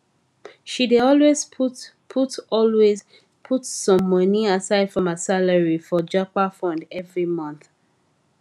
she dey always put always put some moni aside from her salary for japa fund every month